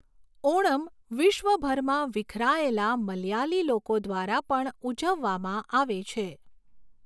ઓણમ વિશ્વભરમાં વિખેરાયેલા મલયાલી લોકો દ્વારા પણ ઉજવવામાં આવે છે.